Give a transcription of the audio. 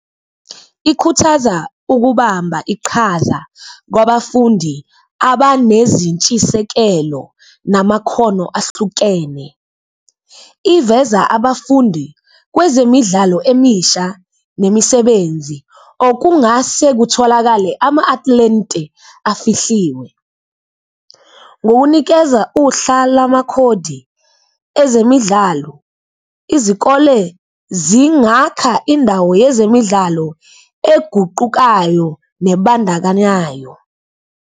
Ikhuthaza ukubamba iqhaza kwabafundi abanezintshisekelo namakhono ahlukene. Iveza abafundi kwezemidlalo emisha nemisebenzi okungase kutholakale ama-athlete afihliwe. Ngokunikeza uhla lamakhodi ezemidlalo, izikole zingakha indawo yezemidlalo eguqukayo nebandakanyayo.